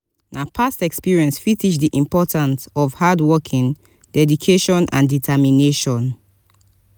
na past experience fit teach di important of hardworking dedication and determination.